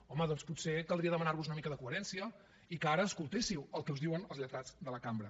home doncs potser caldria demanar vos una mica de coherència i que ara escoltéssiu el que us diuen els lletrats de la cambra